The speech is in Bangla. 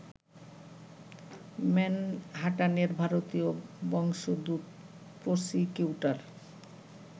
ম্যানহাটানের ভারতীয় বংশোদ্ভূত প্রসিকিউটর